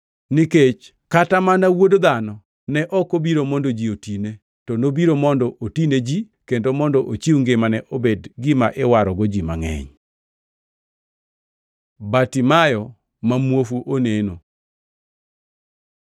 Nikech kata mana Wuod Dhano ne ok obiro mondo ji otine, to nobiro mondo otine ji kendo mondo ochiw ngimane obed gima iwarogo ji mangʼeny.” Bartimayo ma muofu oneno